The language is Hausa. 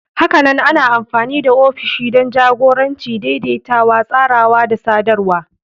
Hakanan ana amfani da ofishi don jagoranci, daidaitawa, tsarawa da sadarwa.